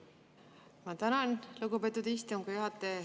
Ma tänan, lugupeetud istungi juhataja!